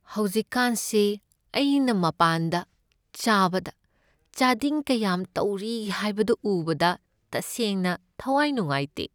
ꯍꯧꯖꯤꯛꯀꯥꯟꯁꯤ ꯑꯩꯅ ꯃꯄꯥꯟꯗ ꯆꯥꯕꯗ ꯆꯥꯗꯤꯡ ꯀꯌꯥꯝ ꯇꯧꯔꯤ ꯍꯥꯏꯕꯗꯨ ꯎꯕꯗ ꯇꯁꯦꯡꯅ ꯊꯋꯥꯏ ꯅꯨꯡꯉꯥꯏꯇꯦ꯫